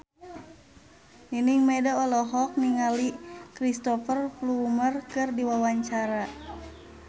Nining Meida olohok ningali Cristhoper Plumer keur diwawancara